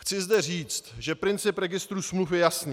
Chci zde říct, že princip registru smluv je jasný.